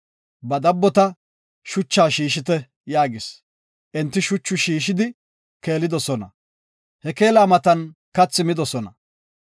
Ba dabbota, “Shucha shiishite” yaagis. Enti shucha shiishidi keelidosona. He keela matan kathi midosona.